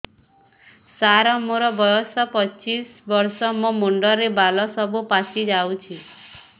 ସାର ମୋର ବୟସ ପଚିଶି ବର୍ଷ ମୋ ମୁଣ୍ଡରେ ବାଳ ସବୁ ପାଚି ଯାଉଛି